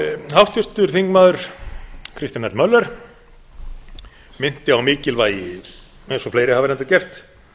háttvirtur þingmaður kristján l möller minnti á á mikilvægi eins og fleiri hafa reyndar gert